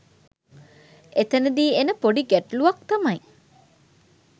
එතැනදී එන පොඩි ගැටළුවක් තමයි